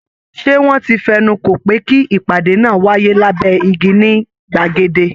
Ṣé wọ́n ti fẹnu kò pé kí ìpàdé náà wáyé lábẹ́ igi ní gbàgede?